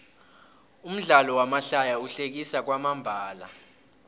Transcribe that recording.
umdlalo wamahlaya uhlekisa kwamambala